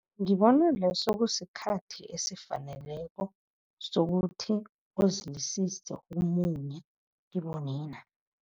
Ngibona leso kusikhathi esifaneleko sokuthi uzilisise ukumunye kibo nina.